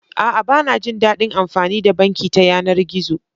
A'a, ba na jin daɗin amfani da banki ta yanar gizo.